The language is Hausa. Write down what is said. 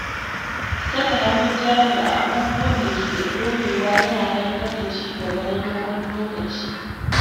Saka hannun jari a abubuwan da ke da ɗorewa yana haifar da ci gaba na dogon lokaci.